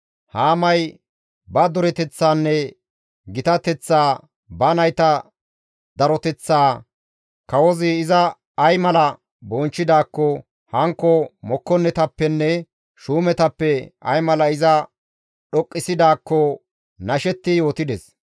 Haamay ba dureteththaanne gitateththaa, ba nayta daroteththaa, kawozi iza ay mala bonchchidaakko, hankko mokkonnetappenne shuumetappe ay mala iza dhoqqisidaakko nashetti yootides.